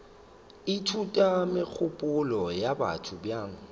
ithuta megopolo ya batho bjang